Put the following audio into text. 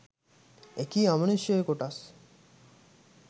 එකී අමනුෂ්‍ය කොටස්